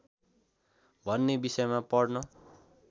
भन्ने विषयमा पढ्न